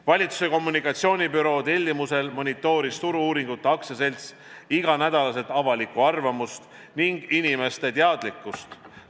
Valitsuse kommunikatsioonibüroo tellimusel monitooris Turu-uuringute AS iga nädal avalikku arvamust ning inimeste teadlikkust.